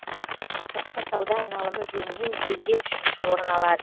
сыртқы сауда айналымы жөнінен елде үшінші орын алады